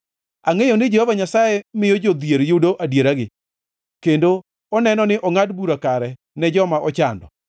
Angʼeyo ni Jehova Nyasaye miyo jodhier yudo adieragi, kendo oneno ni ongʼad bura kare ne joma ochando.